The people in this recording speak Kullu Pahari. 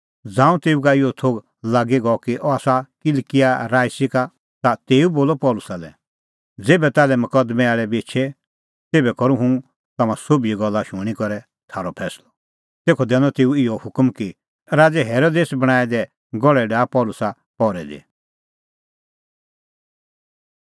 ज़ांऊं तेऊ का इहअ थोघ गअ लागी कि अह आसा किलकिआ राईसी का ता तेऊ बोलअ पल़सी लै ज़ेभै ताल्है मकदमैं आल़ै बी एछे तेभै करूं हुंह तम्हां सोभिए गल्ला शूणीं करै थारअ फैंसलअ तेखअ दैनअ तेऊ इहअ हुकम कि राज़ै हेरोदेस बणांऐं दै गहल़ै डाहा पल़सी पहरै दी